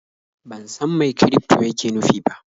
Ban san mai kirifto yake nufi ba.